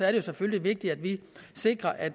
er det selvfølgelig vigtigt at vi sikrer at